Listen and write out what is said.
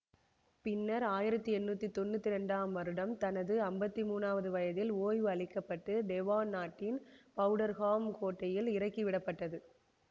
பின்னர் ஆயிரத்தி எண்ணூற்றி தொன்னூற்தி இரண்டாம் வருடம் தனது ஐம்பத்தி மூன்று வயதில் ஓய்வு அளிக்க பட்டு டெவான் நாட்டின் பௌடர்ஹாம் கோட்டையில் இறக்கி விடப்பட்டது